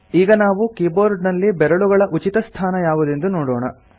ಈಗ ನಾವು ಕೀಬೋರ್ಡ್ ನಲ್ಲಿ ಬೆರಳುಗಳ ಉಚಿತಸ್ಥಾನ ಯಾವುದೆಂದು ನೋಡೋಣ